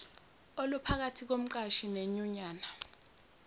oluphakathi komqashi nenyunyana